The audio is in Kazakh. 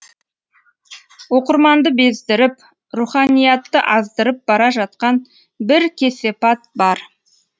оқырманды бездіріп руханиятты аздырып бара жатқан бір кесепат бар